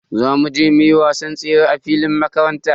Za mu je muyi wasan tsere a filin makaranta.